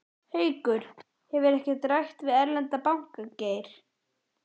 Haukur: Hefur ekkert verið rætt við erlenda banka, Geir?